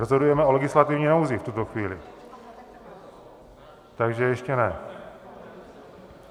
Rozhodujeme o legislativní nouzi v tuto chvíli, takže ještě ne.